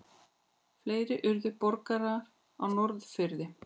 Fleiri urðu borgarar á Norðfirði.